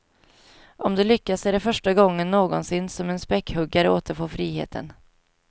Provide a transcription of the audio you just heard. Om det lyckas är det första gången någonsin som en späckhuggare återfår friheten.